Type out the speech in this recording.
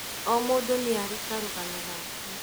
O mũndu nĩarĩ karũgano gake